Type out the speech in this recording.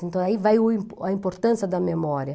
Então, aí vai o a importância da memória.